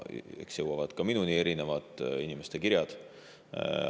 Eks jõuavad ka minuni erinevad inimeste kirjad.